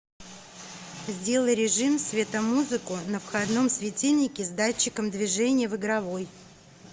сделай режим светомузыку на входном светильнике с датчиком движения в игровой